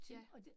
Ja